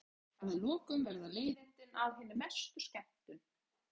Að lokum verða leiðindin að hinni mestu skemmtun.